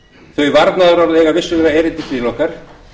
þau varnaðarorð eiga vissulega erindi til okkar